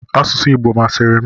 Asụsụ Igbo masịrị m.